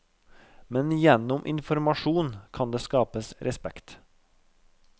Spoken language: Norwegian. Men gjennom informasjon kan det skapes respekt.